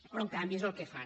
però en canvi és el que fan